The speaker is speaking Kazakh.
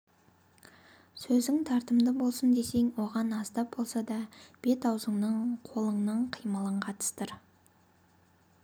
сөзің тартымды болсын десең оған аздап болса да бет-аузыңның қолыңның қимылын қатыстыр